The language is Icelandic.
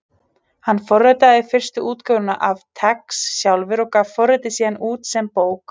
Hann forritaði fyrstu útgáfuna af TeX sjálfur og gaf forritið síðan út sem bók.